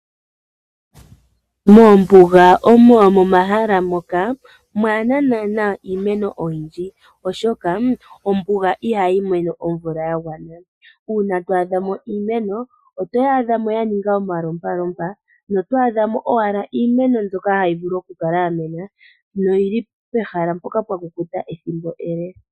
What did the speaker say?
Moombuga omo momahala moka mwaana nanaa iimeno oyindji. Oshoka ombuga iha yi mono omvula yagwana. Una twa adha mo iimeno oto yaadhamo ya ninga omalompalompa. Notwa adhamo owa iimeno mbyoka yahi vulu oku kala ya mena noyili pehala mpoka mpa kukuta ethimbo ele.